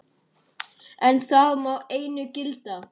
En það má einu gilda.